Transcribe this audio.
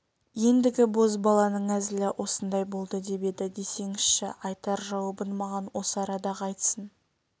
ендігі бозбаланың әзілі осындай болды деп еді десеңізші айтар жауабын маған осы арада-ақ айтсын